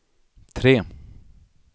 tre